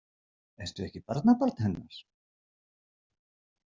Ertu ekki barnabarn hennar?